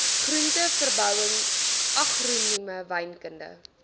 groenteverbouing agronomie wynkunde